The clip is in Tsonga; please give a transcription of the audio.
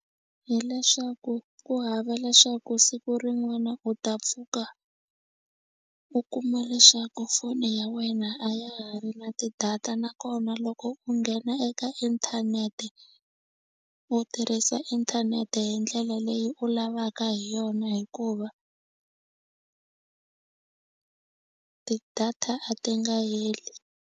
Hi leswaku ku hava leswaku siku rin'wana u ta pfuka u kuma leswaku foni ya wena a ya ha ri na ti-data nakona loko u nghena eka inthanete u tirhisa inthanete hi ndlela leyi u lavaka hi yona hikuva ti-data a ti nga heli.